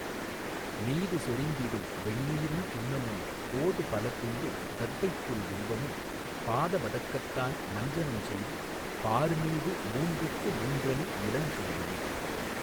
மீது சொரிந்திடும் வெண்ணீறுஞ் சுண்ணமும் போது பலகொண்டு தர்ப்பைப்புல் வில்வமும் பாத வதகத்தான் மஞ்சனஞ் செய்துபார் மீது மூன்றுக்கு மூன்றணி நிலஞ்செய்யுமே.